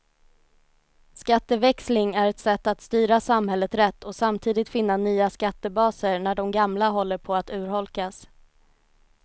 Skatteväxling är ett sätt att styra samhället rätt och samtidigt finna nya skattebaser när de gamla håller på att urholkas.